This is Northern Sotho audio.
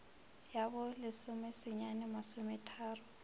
ya bo lesome senyane masometharo